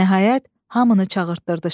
Nəhayət, hamını çağırdırdı şah.